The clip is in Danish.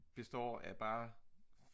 består af bare